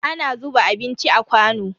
Ana zuba abinci a kwano.